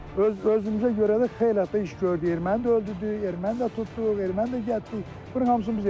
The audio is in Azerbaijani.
Öz özümüzə görə də xeyli hətta iş gördük, erməni də öldürdük, erməni də tutduq, erməni də qətiyyə, bunların hamısını biz eləmişik.